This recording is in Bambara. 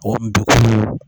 O deguw